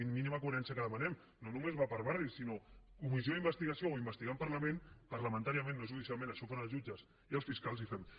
és la mínima coherència que demanem no només va per barris sinó comissió d’investigació o investigar en parlament parlamentàriament no judicialment això ho fan els jutges i els fiscals i fem ho